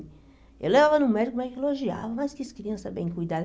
Eu levava no médico, médico elogiava, mas quis criança bem cuidada.